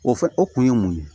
O fɛn o kun ye mun ye